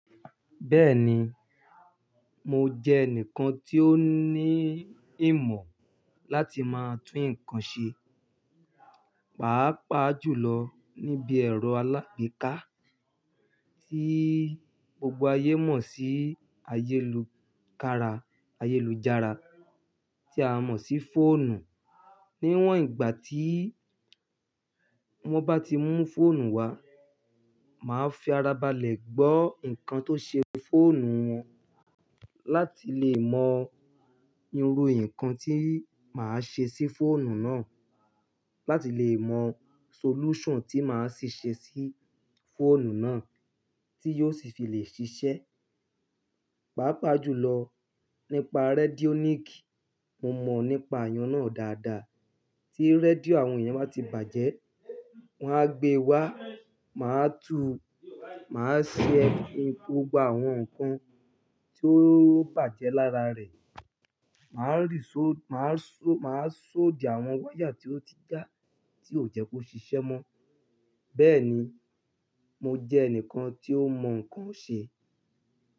Bẹ́ẹ̀ni, mo jẹ́ ẹnìkan tí ó ní ìmọ̀ láti máa tún nǹkan ṣe. Pàápàá jùlọ níbi ẹ̀rọ alágbèéká tí gbogbo ayé mọ̀ sí ayélujára tí a mọ̀ sí fóònù. Níwọ̀n ìgbà tí wọ́n bá ti mú fóònù wá, màá fi ara balẹ̀ gbọ́ nǹkan tó ṣe fóònù wọn láti lè mọ irú nǹkan tí màá ṣe sí fóònù náà láti lè mọ solution tí màá si ṣe sí fóònù náà tí yóò sì fi lè ṣiṣẹ́. Pàápàá jùlọ nípa redionic, mo mọ̀ nípa iyàn náà dáadáa. Tí rédíò àwọn èèyàn bá ti bàjẹ́, wọ́n á gbe wá, màá túu, màá ṣe gbogbo àwọn nǹkan tí ó bàjẹ́ lára rẹ̀, màá rí sóò, màá sóòdì àwọn wáyà tí ó ti já, tí ò jẹ́ kó ṣiṣẹ́ mọ́. Bẹ́ẹ̀ni, mo jẹ́ ẹnìkan tí ó mọ nǹkan ṣe.